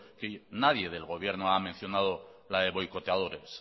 nadie del gobierno ha mencionado la de boicoteadores